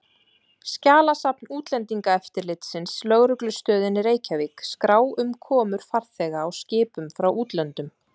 Skjalasafn útlendingaeftirlitsins, lögreglustöðinni Reykjavík, skrá um komur farþega á skipum frá útlöndum.